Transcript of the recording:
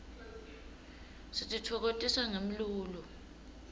sititfokotisa ngemlulo